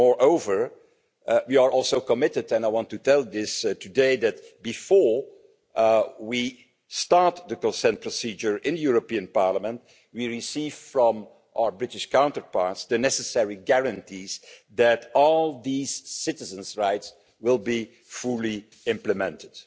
Moreover, we are also committed and I want to tell you this today to ensuring that, before we start the consent procedure in the European Parliament, we receive from our British counterparts the necessary guarantees that all these citizens' rights will be fully implemented.